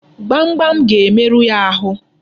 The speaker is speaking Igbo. Gbamgbam ga-emerụ ya ahụ.